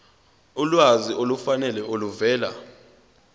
ulwazi olufanele oluvela